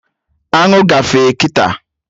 Aṅụ gafee kịta